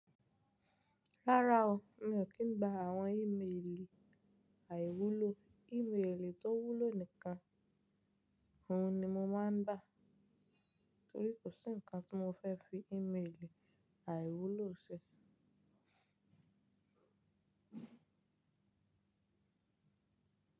Rárá o, mi ò kí ń gba àwọn ímeèlì àìwúlò, ímeèlì tó wúlò nìkan, òhun ni mo máa ń gbà torí kò sí ǹkan tí mo fẹ́ fi ímeèlì àìwúlò ṣe.